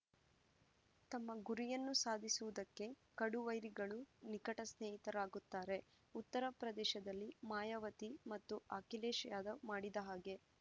ತಮ್ಮ ಗುರಿಯನ್ನು ಸಾಧಿಸುವುದಕ್ಕೆ ಕಡು ವೈರಿಗಳೂ ನಿಕಟ ಸ್ನೇಹಿತರಾಗುತ್ತಾರೆ ಉತ್ತರಪ್ರದೇಶದಲ್ಲಿ ಮಾಯಾವತಿ ಮತ್ತು ಅಖಿಲೇಶ್‌ ಯಾದವ್‌ ಮಾಡಿದ ಹಾಗೆ